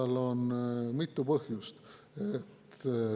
Sellel on mitu põhjust.